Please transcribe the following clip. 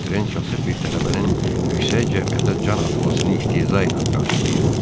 Votren kasıb bir tələbənin yüksək cəmiyyətə can atmasını istehza ilə qarşılayırdı.